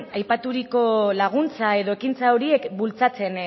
aipaturiko laguntza edo ekintza horiek bultzatzen